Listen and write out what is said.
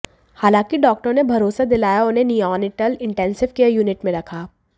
हालांकि डॉक्टरों ने भरोसा दिलाया और उसे निओनेटल इंटेंसिव केयर यूनिट में रखा